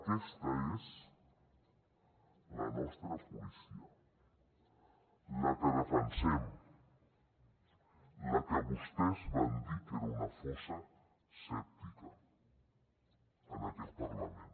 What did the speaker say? aquesta és la nostra policia la que defensem la que vostès van dir que era una fossa sèptica en aquest parlament